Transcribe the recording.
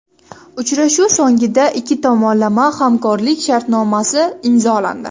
Uchrashuv so‘ngida ikki tomonlama hamkorlik sharnomasi imzolandi.